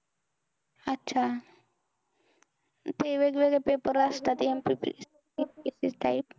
अच्छा! ते वेगवेगळे paper असतात. MPSC, UPSC type.